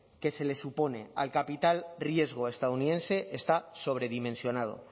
que se le supone al capital riesgo estadounidense está sobredimensionado